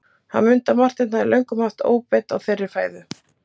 Hann mundi að Marteinn hafði löngum haft óbeit á þeirri fæðu.